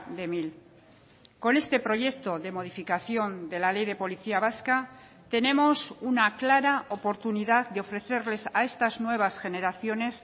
de mil con este proyecto de modificación de la ley de policía vasca tenemos una clara oportunidad de ofrecerles a estas nuevas generaciones